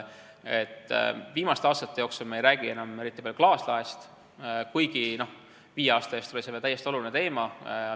Viimastel aastatel me pole enam eriti palju rääkinud klaaslaest, kuigi viie aasta eest oli see veel täiesti oluline teema.